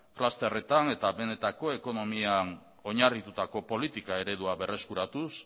clusterretan eta benetako ekonomian oinarritutako politika eredua berreskuratuz